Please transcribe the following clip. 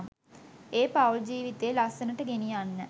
ඒ පවුල් ජීවිතේ ලස්සනට ගෙනියන්න.